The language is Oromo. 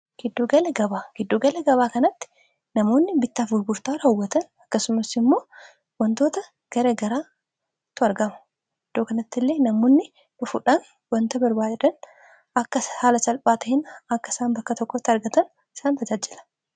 Giddugala gabaa kanatti namoonni bittaaf buburtaa raawwatan akkasumassi immoo wantoota gara garaa tu argama iddoo kanatti illee namoonni dhufuudhaan wanta barbaadan akka haala salphaatahin akka isaan bakka tokkotti argatan isaan tajaajila